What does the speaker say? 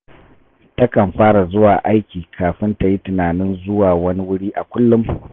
Takan fara zuwa aiki kafin ta yi tunanin zuwa wani wuri a kullum